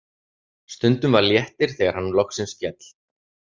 Stundum var léttir þegar hann loksins féll.